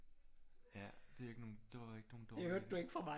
Ja det er ikke nogen det var ikke nogen dårlig idé